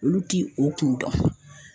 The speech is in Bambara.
Olu ti o kun dɔn.